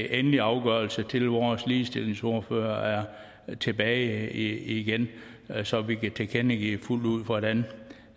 endelige afgørelse til vores ligestillingsordfører er tilbage igen så vi kan tilkendegive fuldt ud hvordan